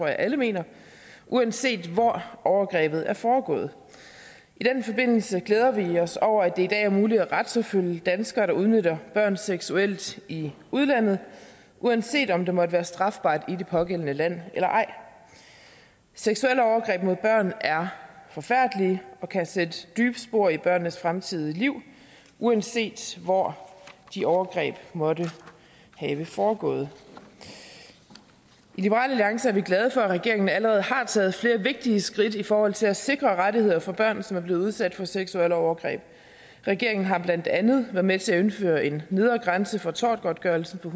jeg alle mener uanset hvor overgrebet er foregået i den forbindelse glæder vi os over at det i dag er muligt at retsforfølge danskere der udnytter børn seksuelt i udlandet uanset om det måtte være strafbart i det pågældende land eller ej seksuelle overgreb mod børn er forfærdelige og kan sætte dybe spor i børnenes fremtidige liv uanset hvor de overgreb måtte have foregået i liberal alliance er vi glade for at regeringen allerede har taget flere vigtige skridt i forhold til at sikre rettigheder for børn som er blevet udsat for seksuelle overgreb regeringen har blandt andet været med til at indføre en nedre grænse for tortgodtgørelse på